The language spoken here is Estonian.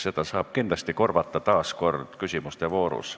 Seda saab kindlasti korvata küsimuste voorus.